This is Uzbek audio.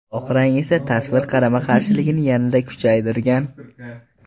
Oq rang esa tasvir qarama-qarshiligini yanada kuchaytirgan.